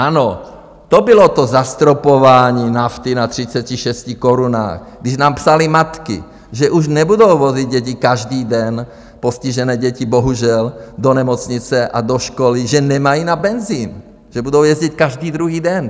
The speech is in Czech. Ano, to bylo to zastropování nafty na 36 korunách, když nám psaly matky, že už nebudou vozit děti každý den - postižené děti, bohužel - do nemocnice a do školy, že nemají na benzin, že budou jezdit každý druhý den.